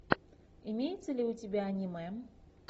имеется ли у тебя аниме